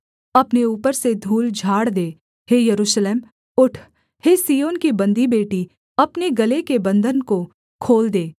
अपने ऊपर से धूल झाड़ दे हे यरूशलेम उठ हे सिय्योन की बन्दी बेटी अपने गले के बन्धन को खोल दे